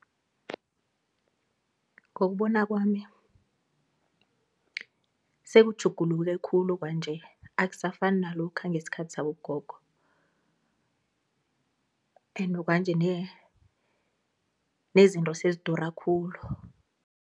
Ngokubona kwami sekutjhuguluke khulu kwanje akusafani nalokha ngesikhathi sabogogo ende kwanje nezinto sezidura khulu.